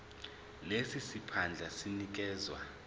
lesi siphandla sinikezwa